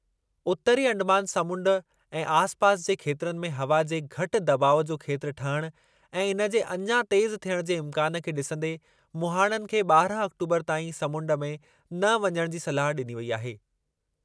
उतरी अंडमान समुंड ऐं आसिपासि जे खेत्रनि में हवा जे घटि दॿाउ जो खेत्रु ठहिण ऐं इन जे अञा तेज़ु थियण जे इम्कानु खे ॾिसंदे मुहाणनि खे ॿारह आक्टोबरु ताईं समुंड में न वञण जी सलाह ॾिनी वेई आहे।